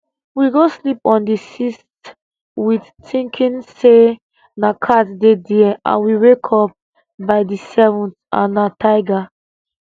we go sleep on di 6th wit tinking say na cat dey dia and we wake up by di 7th and na tiger